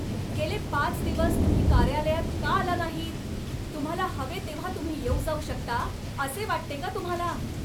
गेले पाच दिवस तुम्ही कार्यालयात का आला नाहीत? तुम्हाला हवे तेव्हा तुम्ही येऊ जाऊ शकता असे वाटते का तुम्हाला?